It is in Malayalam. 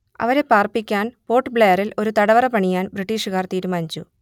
അവരെ പാർപ്പിക്കാൻ പോർട്ട് ബ്ലെയറിൽ ഒരു തടവറ പണിയാൻ ബ്രിട്ടീഷുകാർ തീരുമാനിച്ചു